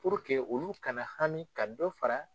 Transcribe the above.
olu kana haami ka dɔ fara